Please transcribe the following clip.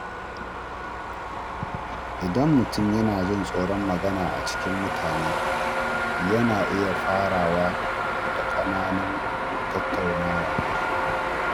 Idan mutum yana jin tsoron magana a cikin mutane, yana iya fara da ƙananun tattaunawa.